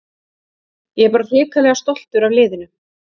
Ég er bara hrikalega stoltur af liðinu.